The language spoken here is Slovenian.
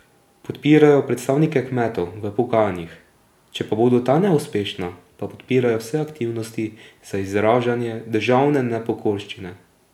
Podpirajo predstavnike kmetov v pogajanjih, če pa bodo ta neuspešna, pa podpirajo vse aktivnosti za izražanje državne nepokorščine.